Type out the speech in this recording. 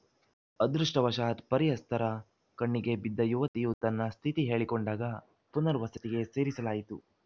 ಅದೃಷ್ಟವಶಾತ್‌ ಪರಿಚಯಸ್ಥರ ಕಣ್ಣಿಗೆ ಬಿದ್ದ ಯುವತಿಯು ತನ್ನ ಸ್ಥಿತಿ ಹೇಳಿಕೊಂಡಾಗ ಪುನರ್ವಸತಿಗೆ ಸೇರಿಸಲಾಯಿತು